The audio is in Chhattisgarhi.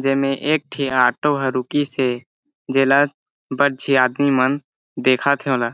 जेमे एक ठी ऑटो ह रुकीस हे जेला बड़ झी आदमी मन देखत ओला--